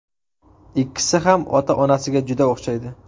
Ikkisi ham ota-onasiga juda o‘xshaydi.